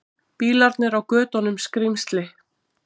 Bílarnir á götunum skrímsli.